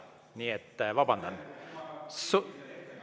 Nii et vabandan!